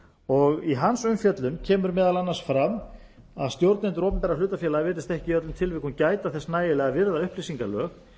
og í hans umfjöllun kemur meðal annars fram að stjórnendur opinberra hlutafélaga virðast ekki í öllum tilvikum gæta þess nægilega að virða upplýsingalög